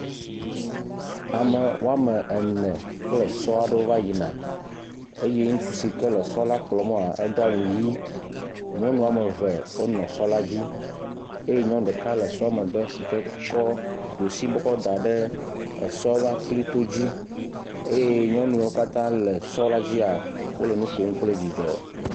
Ame woa me ene kple zɔa aɖewo va yi na. Eye ŋutsu si ke la zɔ la kplɔm maa edoa awu ʋi. nyɔnua ame eve wona zɔ la dzi. Eye nyɔnu ɖeka le sɔ megbe si ke ɖusi bɔ kɔ da ɖe ezɔ la ƒe aklito dzi. Eye nyɔnuawo katã le zɔ la dzia, wole nu kom kple dzidzɔ.